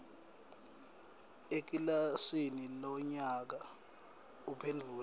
ekilasini lonyaka uphendvule